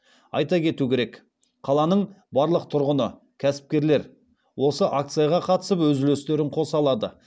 айта кету керек қаланың барлық тұрғыны кәсіпкерлер осы акцияға қатысып өз үлестерін қоса алады